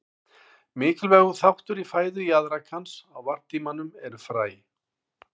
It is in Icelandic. Mikilvægur þáttur í fæðu jaðrakans á varptímanum eru fræ.